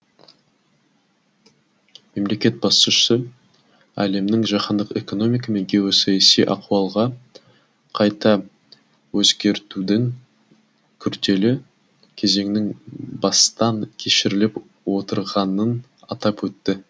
мемлекет басшысы әлемнің жаһандық экономика мен геосаяси ахуалға қайта өзгертудің күрделі кезеңін бастан кешіріліп отырғанын атап өтті